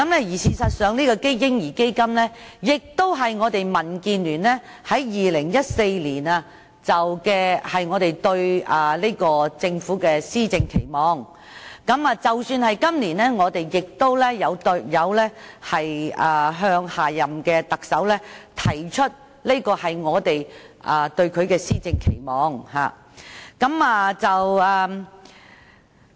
事實上，這個"嬰兒基金"也是我們民主建港協進聯盟在2014年對政府的施政期望，即使在今年，我們亦有向下任特首提出這個施政期望。